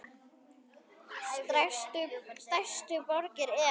Stærstu borgir eru